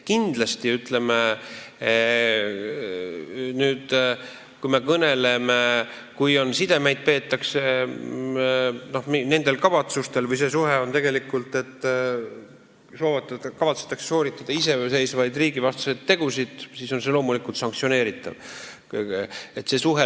Kui me nüüd kõneleme kavatsustest sidepidamisel, siis juhul, kui see suhe on selline, et kavatsetakse sooritada iseseisvaid riigivastaseid tegusid, tuleb kindlasti sanktsioone rakendada.